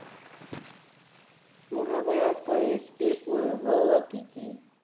মহাভারত কয়টি পর্ব ও কি কি?